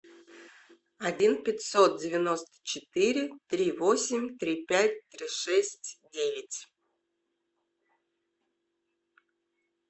один пятьсот девяносто четыре три восемь три пять три шесть девять